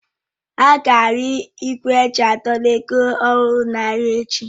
Ága arụ igwe eji a dọrọ ego ọhụrụ n'ahịa echi.